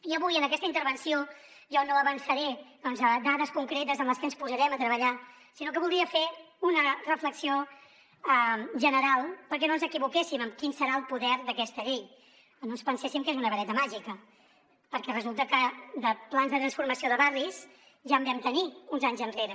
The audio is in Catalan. i avui en aquesta intervenció jo no avançaré doncs dades concretes amb les que ens posarem a treballar sinó que voldria fer una reflexió general perquè no ens equivoquéssim en quin serà el poder d’aquesta llei o no ens penséssim que és una vareta màgica perquè resulta que de plans de transformació de barris ja en vam tenir uns anys enrere